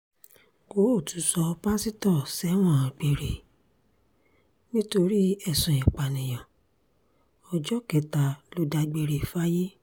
kóòtù sọ pásítọ̀ sẹ́wọ̀n gbére nítorí ẹ̀sùn ìpànìyàn ọjọ́ kẹta ló dágbére fáyé